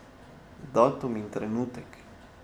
Datum in trenutek.